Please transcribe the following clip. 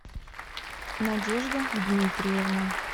надежда дмитриевна